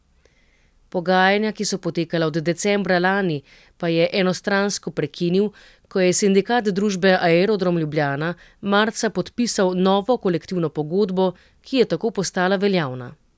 Pogajanja, ki so potekala od decembra lani pa je enostransko prekinil, ko je Sindikat družbe Aerodrom Ljubljana marca podpisal novo kolektivno pogodbo, ki je tako postala veljavna.